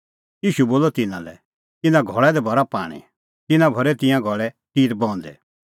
ईशू बोलअ तिन्नां लै इना घल़ै दी भरा पाणीं तिन्नैं भरै तिंयां घल़ै टिरा बहूंदै